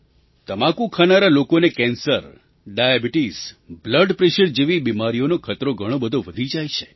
તમાકુ ખાનારા લોકોને કેન્સર ડાયાબિટિસ બ્લડ પ્રૅશર જેવી બીમારીઓનો ખતરો ઘણો બધો વધી જાય છે